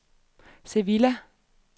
Sevilla